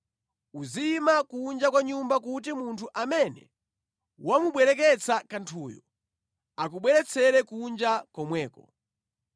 Uziyima kunja kwa nyumba kuti munthu amene wamubwereketsa kanthuyo akubweretsere kunja komweko.